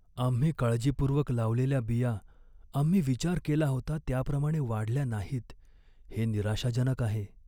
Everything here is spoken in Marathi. आम्ही काळजीपूर्वक लावलेल्या बिया आम्ही विचार केला होता त्याप्रमाणे वाढल्या नाहीत हे निराशाजनक आहे.